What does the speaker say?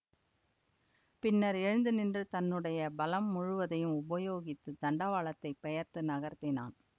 பின்னர் எழுந்துநின்று தன்னுடைய பலம் முழுவதையும் உபயோகித்துத் தண்டவாளத்தைப் பெயர்த்து நகர்த்தினான்